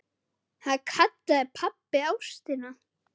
Það kallaði pabbi ástina.